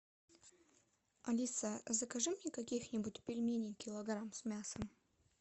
алиса закажи мне каких нибудь пельменей килограмм с мясом